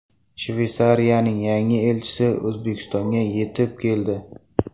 Shveysariyaning yangi elchisi O‘zbekistonga yetib keldi.